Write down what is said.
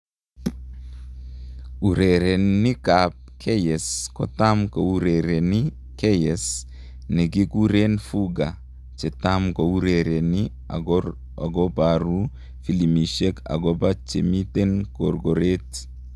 Urerainik ap Keyes, kotam kourereni keyes nikikuren fuga,.chetam kourereni akoparu filimbishek agopa chemiten korkoret